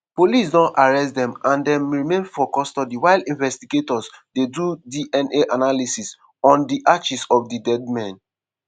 police don arrest dem and dem remain for custody while investigators dey do dna analysis on di ashes of di dead men.